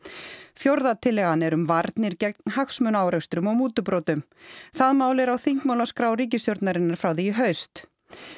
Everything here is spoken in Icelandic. fjórða tillagan er um varnir gegn hagsmunaárekstrum og mútubrotum það mál er á þingmálaskrá ríkisstjórnarinnar frá því í haust